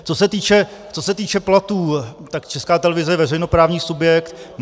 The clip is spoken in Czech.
Co se týče platů, tak Česká televize je veřejnoprávní subjekt.